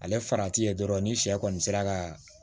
Ale farati ye dɔrɔn ni sɛ kɔni sera ka